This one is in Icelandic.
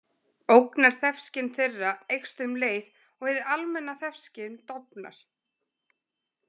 Ógnarþefskyn þeirra eykst um leið og hið almenna þefskyn dofnar.